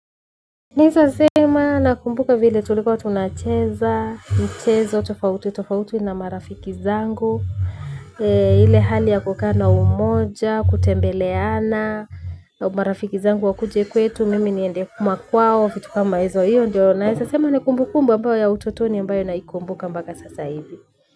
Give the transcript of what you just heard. Neza sema nakumbuka vile tulikuwa tunacheza, nchezo, tofauti, tofauti na marafiki zangu. Ile hali ya kukaa na umoja, kutembeleana, marafiki zangu wakuje kwetu mimi niende kuma kwao fitu kama hizo hiyo ndiyo naesa sema ni kumbukumbu ambayo ya utotoni ambayo naikumbuka mbaka sasa hivi.